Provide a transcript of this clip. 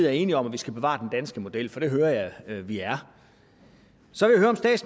er enige om at vi skal bevare den danske model for det hører jeg at vi er